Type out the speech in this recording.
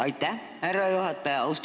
Aitäh, härra juhataja!